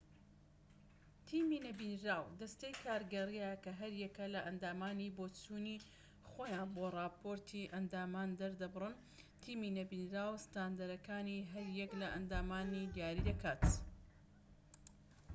تیمی نەبینراو دەستەی کارگێڕییە کە هەریەکە لە ئەندامانی بۆچوونی خۆیان بۆ ڕاپۆرتی ئەندامان دەردەبڕن تیمی نەبینراو ستاندەرەکانی هەر یەک لە ئەندامان دیاری دەکات